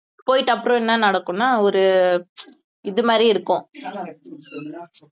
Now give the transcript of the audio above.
போயிட்டு அப்புறம் என்ன நடக்கும்னா ஒரு இது மாதிரி இருக்கும்